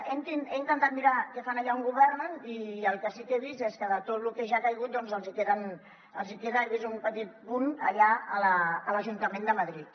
he intentat mirar què fan allà on governen i el que sí que he vist és que de tot lo que ja ha caigut doncs els hi queda he vist un petit punt allà a l’ajuntament de madrid